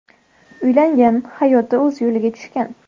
Uylangan, hayoti o‘z yo‘liga tushgan.